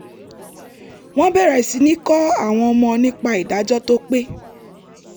wọ́n bẹ̀rẹ̀ sí ní kọ́ àwọn ọmọ nípa ìdájọ́ tó pé